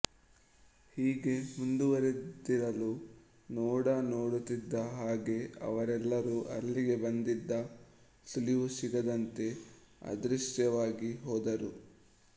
ಹೀಗೆ ಮುಂದುವರೆದಿರಲು ನೋಡ ನೋಡುತ್ತಿದ್ದ ಹಾಗೆ ಅವರೆಲ್ಲರೂ ಅಲ್ಲಿಗೆ ಬಂದಿದ್ದ ಸುಳಿವೂ ಸಿಗದಂತೆ ಅದೃಶ್ಯವಾಗಿ ಹೋದರು